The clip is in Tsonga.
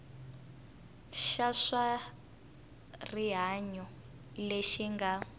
xa swa rihanyo lexi nga